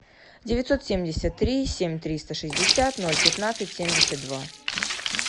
девятьсот семьдесят три семь триста шестьдесят ноль пятнадцать семьдесят два